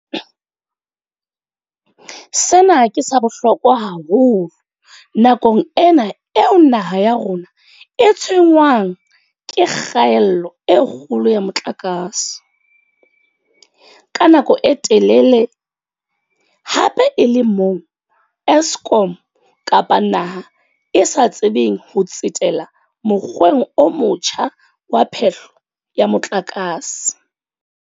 Sena ke sa bohlokwa haholo nakong ena eo naha ya rona e tshwenngwang ke kgaello e kgolo ya motlakase, ka nako e telele, hape e le moo Eskom kapa naha e sa tsebeng ho tsetela mokgweng o motjha wa phehlo ya motlakase.